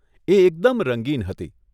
એ એકદમ રંગીન હતી.